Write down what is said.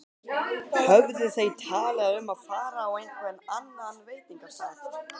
Höfðu þau talað um að fara á einhvern annan veitingastað?